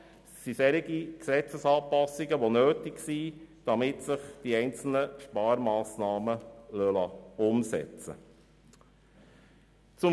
Es geht dabei um Gesetzesanpassungen, die nötig sind, damit sich die einzelnen Sparmassnahmen umsetzen lassen.